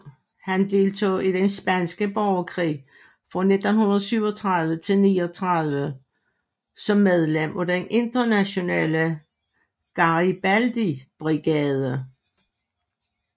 Han deltog i den spanske borgerkrig fra 1937 til 1939 som medlem af den Internationale Garibaldi Brigade